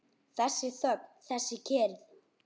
Þessi þögn, þessi kyrrð!